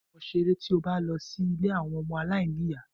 Ba awọn ọmọ ṣere tí o bá lọ sí ilé àwọn ọmọ alainiya.